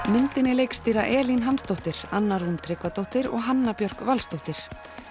myndinni leikstýra Elín Hansdóttir Anna Rún Tryggvadóttir og Hanna Björk Valsdóttir